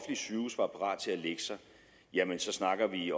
sygehuse var parat til at lægge sig jamen så snakker vi